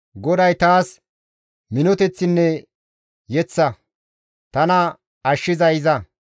GODAY taas minoteththinne yeththa; tana ashshizay iza.